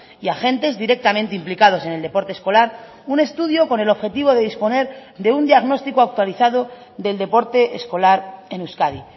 y agentes directamente implicados en el deporte escolar un estudio con el objetivo de disponer de un diagnóstico actualizado del deporte escolar en euskadi